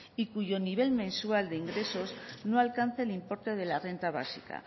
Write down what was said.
y cuyo nivel mensual de ingresos no alcance el importe de la renta básica